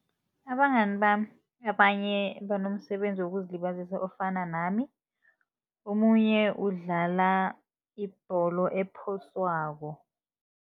Abangani bami abanye banomsebenzi wokuzilibazisa ofana nami, omunye udlala ibholo ephoswako.